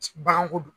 Baganko dun